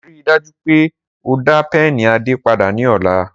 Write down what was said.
Rii daju pe o da pẹ́ẹ̀nì Ade pada ni ọla!